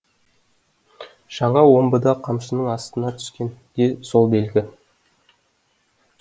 жаңа омбыда қамшының астына түскен де сол белгі